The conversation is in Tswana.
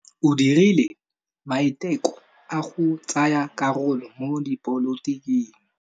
O dirile maitekô a go tsaya karolo mo dipolotiking.